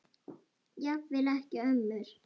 Jafnvel ekki ömmur.